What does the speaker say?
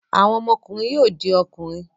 Àwọn ọmọkùnrin yóò di ọkùnrin.